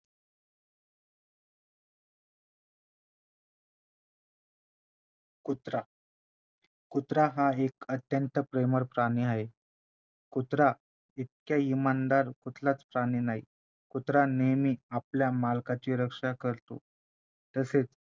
कुत्रा कुत्रा हा एक अत्यंत प्रेमळ प्राणी आहे कुत्र्याइतका इमानदार कुठलाचं प्राणी नाही कुत्रा नेहमी आपल्या मालकाची रक्षा करतो तसेच